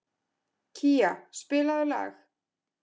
Kía, spilaðu lag.